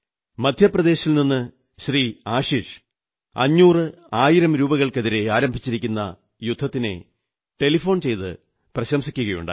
മദ്ധ്യപ്രദേശിൽ നിന്ന് ശ്രീ ആശിഷ് 500 1000 രൂപകൾക്കെതിരെ ആരംഭിച്ചിരിക്കുന്ന യുദ്ധത്തിനെ ടെലിഫോൺ ചെയ്ത് പ്രശംസിക്കയുണ്ടായി